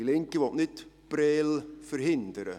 Die Linke will nicht Prêles verhindern.